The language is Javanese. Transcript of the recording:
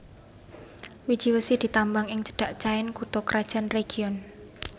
Wiji wesi ditambang ing cedhak Caen kutha krajan région